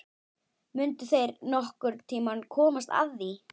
Mundu þeir nokkurn tíma komast að því?